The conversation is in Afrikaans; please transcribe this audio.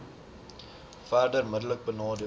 verder middelik benadeel